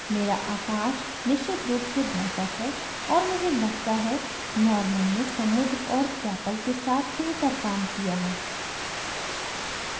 मेरा आकाश निश्चित रूप से बेहतर है और मुझे लगता है norman ने समुद्र और chapel प्रार्थनास्थल के साथ बेहतर काम किया है